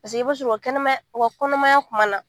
Paseke i b'a sɔrɔ o ka kɛnɛmaya o ka kɔnɔmaya kuma na.